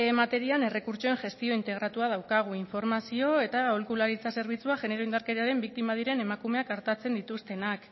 materian errekurtsoen gestio integratua daukagu informazio eta aholkularitza zerbitzua genero indarkeriaren biktima diren emakumeak artatzen dituztenak